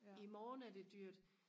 imorgen er det dyrt